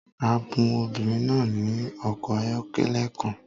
A bun obìnrin náà ní ọkọ̀ ayọ́kẹ́lẹ́ kan